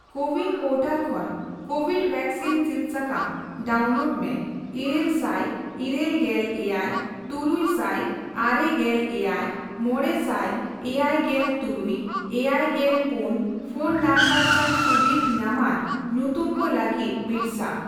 CoWIN portal ᱠᱷᱚᱱ covid vaccine ᱥᱤᱫ ᱥᱟᱠᱟᱢ ᱰᱟᱣᱩᱱᱞᱳᱰ ᱢᱮ ᱤᱨᱟᱹᱞ ᱥᱟᱭ ᱤᱨᱟᱹᱞ ᱜᱮᱞ ᱮᱭᱟᱭ, ᱛᱩᱨᱩᱭ ᱥᱟᱭ ᱟᱨᱮ ᱜᱮᱞ ᱮᱭᱟᱭ, ᱢᱚᱲᱮ ᱥᱟᱭ ᱮᱭᱟᱭ ᱜᱮᱞ ᱛᱩᱨᱩᱭ ,ᱮᱭᱟᱭ ᱜᱮᱞ ᱯᱩᱱ, ᱯᱷᱚᱱ ᱱᱚᱢᱵᱚᱨ ᱥᱟᱣ ᱥᱩᱵᱤᱫᱷ ᱧᱟᱢᱟᱱ ᱧᱩᱛᱩᱢ ᱠᱚ ᱞᱟᱹᱜᱤᱫ ᱵᱤᱨᱥᱟ ᱾